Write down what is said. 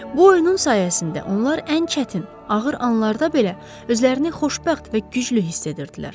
Bu oyunun sayəsində onlar ən çətin, ağır anlarda belə özlərini xoşbəxt və güclü hiss edirdilər.